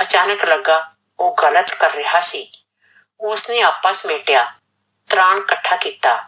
ਆਚਾਨਕ ਲੱਗਾ ਓਹ ਗਲਤ ਕਰ ਰਿਹਾ ਸੀ, ਉਸਨੇ ਆਪਾਂ ਸਮੇਟਿਆ ਸਮਾਂਨ ਇਕੱਠਾ ਕੀਤਾ,